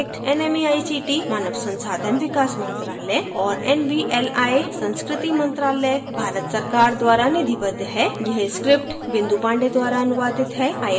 spoken tutorial project nmeict मानव संसाधन विकास मंत्रायल और nvli संस्कृति मंत्रालय भारत सरकार द्वारा निधिबद्ध है